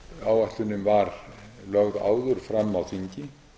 áætlunin var lögð áður fram á þingi